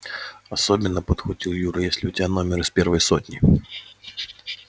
особенно подхватил юра если у тебя номер из первой сотни